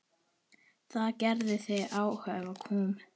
Það gerði þig afhuga kúm.